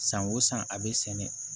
San o san a bɛ sɛnɛ